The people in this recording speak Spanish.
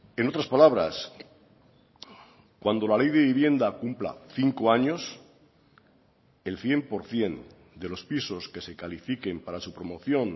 en otras palabras cuando la ley de vivienda cumpla cinco años el cien por ciento de los pisos que se califiquen para su promoción